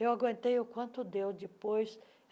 Eu aguentei o quanto deu depois.